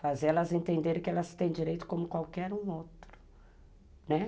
Fazer elas entenderem que elas têm direito como qualquer um outro, né.